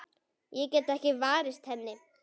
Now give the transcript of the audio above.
Ég get ekki varist henni.